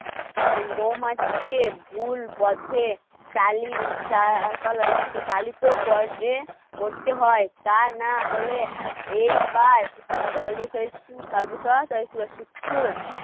মৌমাছিকে ভুল পথে কালি করতে হয় তা না হলে এইবার